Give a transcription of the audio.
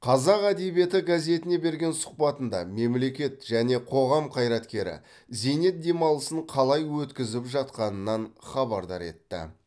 қазақ әдебиеті газетіне берген сұхбатында мемлекет және қоғам қайраткері зейнет демалысын қалай өткізіп жатқанынан хабардар етті